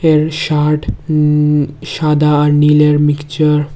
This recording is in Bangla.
এর শার্ট উম সাদা আর নীলের মিকচার মিক্সচার ।